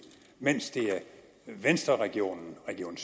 mens det er venstreregionen region